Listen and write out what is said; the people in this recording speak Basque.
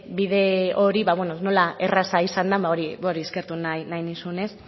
bide hori nola erraza izan den hori eskertu nahi nizun